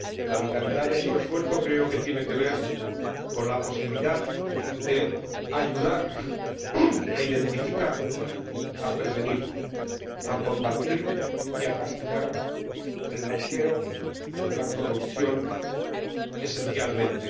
creo que la vitalidad de su esfuerzo tiene que ver con la posibilidad de ayudar a detectar, a prevenir, a combatir y a castigar el blanqueo, la corrupción, esencialmente.